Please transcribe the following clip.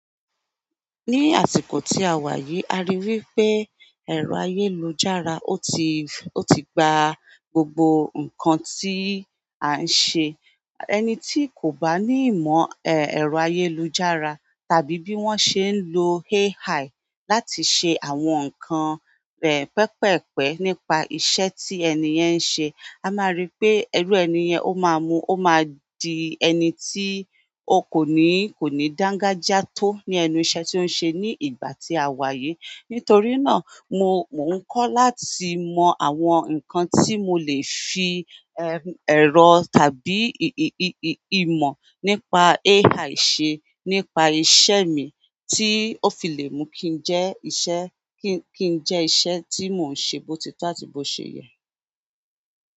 Ní àsìkò tí a wà yìí, a rí i wí pé ẹ̀rọ ayélujára, ó ti, ó ti gba gbogbo nǹkan tí a ń ṣe. Ẹni tí kò bá ní ìmọ̀ ẹ́, ẹ̀rọ ayélujára tàbí bí wọ́n ṣe ń lo AI láti ṣe àwọn nǹkan, ẹ̀, pẹpẹ́ẹ̀pẹ̀ nípa iṣẹ́ tí ẹni yẹn ń ṣe, a máa rí pé ẹrú ẹni yẹn ó máa mú, ó máa di ẹni tí ó kò ní, kò ní dángájiá tó ní ẹnu iṣẹ́ tí ó ń ṣe ní ìgbà tí a wà yìí. Nítorí náà mo, mò ń kọ́ láti mọ àwọn nǹkan tí mo lè fi ẹm, ẹ̀rọ tàbí ì, ì, ì, ì, ìmọ̀ nípa AI ṣe nípa iṣẹ́ mi tí ó fi lè mú kí i jẹ́ iṣẹ́, kí, kí i jẹ́ iṣẹ́ tí mò ń ṣe tótí tàbí bó ṣe yẹ.